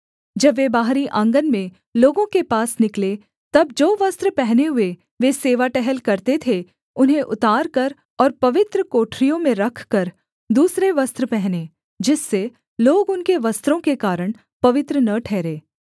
जब वे बाहरी आँगन में लोगों के पास निकलें तब जो वस्त्र पहने हुए वे सेवा टहल करते थे उन्हें उतारकर और पवित्र कोठरियों में रखकर दूसरे वस्त्र पहनें जिससे लोग उनके वस्त्रों के कारण पवित्र न ठहरें